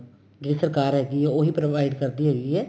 ਜਿਹੜੀ ਸਰਕਾਰ ਹੈਗੀ ਏ ਉਹੀ provide ਕਰਦੀ ਹੈਗੀ ਏ